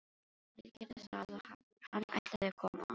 Já, þeir gerðu það og hann ætlaði að koma.